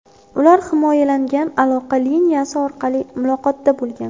Ular himoyalangan aloqa liniyasi orqali muloqotda bo‘lgan.